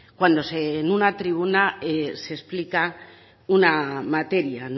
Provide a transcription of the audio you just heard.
cuando en una tribuna se explica una materia